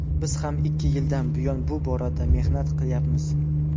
Biz ham ikki yildan buyon bu borada mehnat qilyapmiz.